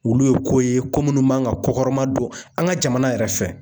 Olu ye ko ye ko munnu man ka kokɔrɔma don an ka jamana yɛrɛ fɛ.